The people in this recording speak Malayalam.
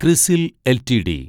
ക്രിസിൽ എൽറ്റിഡി